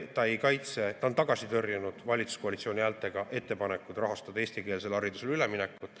Ta on tagasi tõrjunud valitsuskoalitsiooni häältega ettepanekud rahastada eestikeelsele haridusele üleminekut.